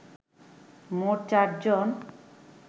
মোট চারজন